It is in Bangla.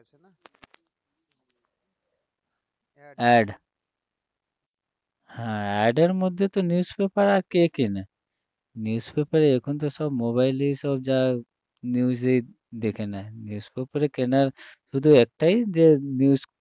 AD হ্যাঁ AD এর মধ্যে তো আর news paper আর কে কেনে news paper এখন তো সব mobile এই সব যা news এই দেখে নেয় news paper কেনার শুধু একটাই যে news